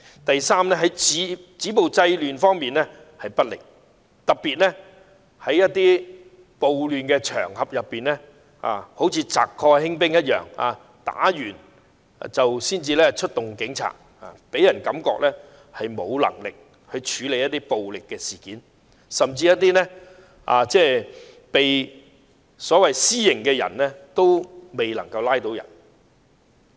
第三，止暴制亂不力，特別在暴亂場合中，好像賊過興兵一樣，搗亂或衝突後才出動警察，予人感覺政府沒有能力處理暴力事件，甚至還未拘捕一些行使私刑的人。